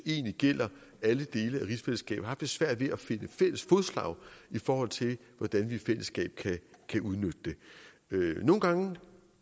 egentlig gælder alle dele af rigsfællesskabet svært ved at finde fælles fodslag i forhold til hvordan vi i fællesskab kan udnytte det nogle gange